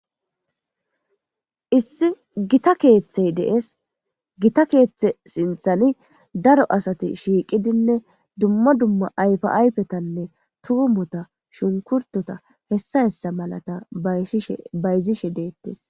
Issi gitta keeththey dees gita keeththe sinthani daro asati shiiqidinne dumma dumma ayfa ayfetanne tuumota shunkurtota hessa hessa malata bayzishe deettees